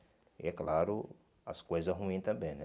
E é claro, as coisas ruins também, né?